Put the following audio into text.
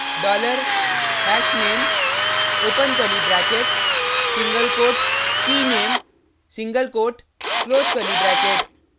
dollar hashname open curly bracket single quote keyname single quote close curly bracket